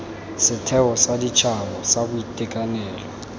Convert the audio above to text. setheo sa setšhaba sa boitekanelo